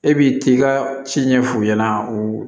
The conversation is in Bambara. E b'i t'i ka ci ɲɛf'u ɲɛna u